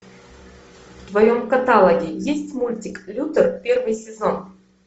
в твоем каталоге есть мультик лютер первый сезон